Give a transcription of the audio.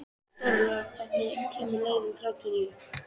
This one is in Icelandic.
Stórólfur, hvenær kemur leið númer þrjátíu og níu?